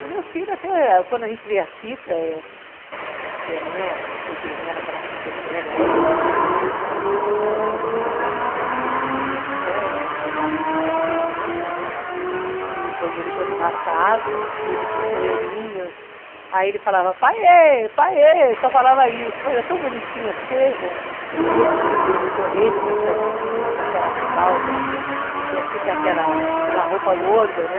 do meu filho até quando a gente vê a fita, eh, que não é o cê dê, era aquela fita de vê aga esse, se não me engano, eles tomando banho, né. O meu marido filmando, né, e o banheiro todo embaçado e ele com o chuveirinho aí ele falava, paiê, paiê, só falava isso. Mas era tão bonitinha a cena o jeitinho deles correrem nas festinhas com aquelas fraldas então fica aquela aquela roupa gorda né